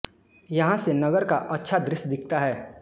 यहाँ से नगर का अच्छ दृश्य दिखता है